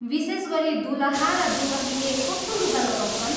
विशेष गरी दुलहा र दुलहीले कस्तो लुगा लगाउँछन्?